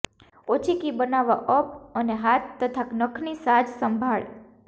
ઓછી કી બનાવવા અપ અને હાથ તથા નખની સાજસંભાળ